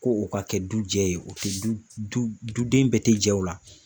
Ko o ka kɛ du jɛ ye, o te du du den bɛɛ tɛ jɛ o la.